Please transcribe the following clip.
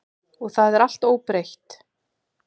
Og það er allt óbreytt.